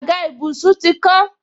Àga ìbùsùn ti kán